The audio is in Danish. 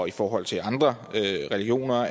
i forhold til andre religioner